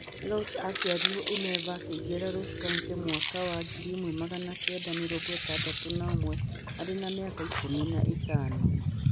Ross aaciarĩirwo Inver na akĩingĩra Ross County mwaka wa ngiri ĩmwe magana kenda mĩrongo ĩtandatũ na ũmwe arĩ na mĩaka ikũmi na ĩtano.